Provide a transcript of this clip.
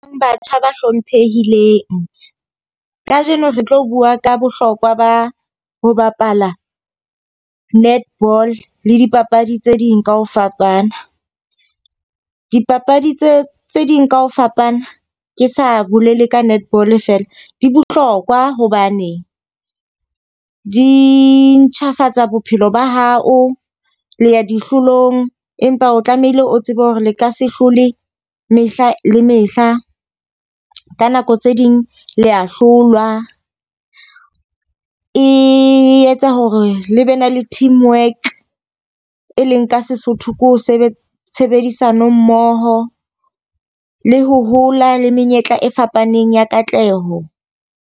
Batjha ba hlomphehileng. Ka jeno re tlo bua ka bohlokwa ba ho bapala netball le dipapadi tse ding ka ho fapana. Dipapadi tse tse ding ka ho fapana ke sa bolele ka netball fela di bohlokwa hobane di ntjhafatsa bophelo ba hao, le ya dihlolong. Empa o tlamehile o tsebe hore le ka se hlole mehla le mehla. Ka nako tse ding le a hlolwa. E etsa hore le be ne le teamwork, e leng ka Sesotho ke ho sebetsa tshebedisano mmoho le ho hola le menyetla e fapaneng ya katleho.